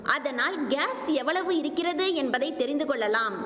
அதனால் காஸ் எவ்வளவு இருக்கிறது என்பதை தெரிந்து கொள்ளலாம்